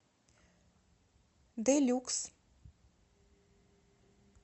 дэ люкс